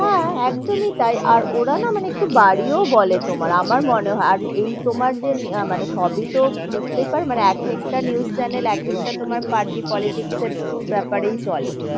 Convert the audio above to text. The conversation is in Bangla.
হাঁ একদমই তাই আর ওরা না মানে একটু বাড়িয়ে বলে তোমার আমার মনে হয়, আর এই তোমার যে মানে সবি তো বুঝতে পারো মানে এক একটা news channel এক একটা party politics এর ব্যাপারই চলে,